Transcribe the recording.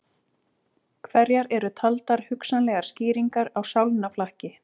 Hverjar eru taldar hugsanlegar skýringar á sálnaflakki?